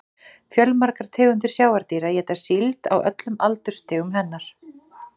Fjölmargar tegundir sjávardýra éta síld á öllum aldursstigum hennar.